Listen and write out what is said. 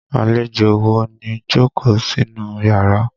Àlejò wo ló jókòó sínú yàrá?